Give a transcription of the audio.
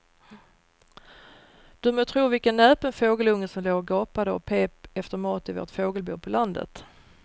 Du må tro vilken näpen fågelunge som låg och gapade och pep efter mat i vårt fågelbo på landet.